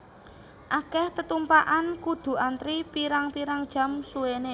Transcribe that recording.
Akeh tetumpakan kudu antri pirang pirang jam suwene